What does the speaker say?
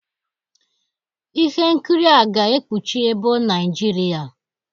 Ihe nkiri a ga-ekpuchi ebo Naijiria